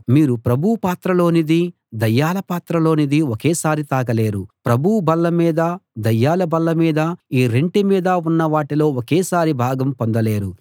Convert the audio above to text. మీరు ప్రభువు పాత్రలోనిదీ దయ్యాల పాత్రలోనిదీ ఒకేసారి తాగలేరు ప్రభువు బల్లమీదా దయ్యాల బల్ల మీదా ఈ రెంటి మీదా ఉన్నవాటిలో ఒకేసారి భాగం పొందలేరు